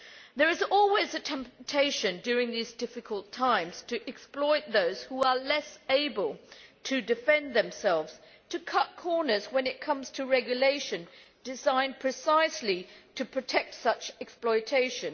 There is always a temptation during these difficult times to exploit those who are less able to defend themselves, to cut corners when it comes to regulation designed precisely to protect against such exploitation.